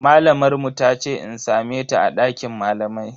Malamar mu tace in same ta a dakin malamai.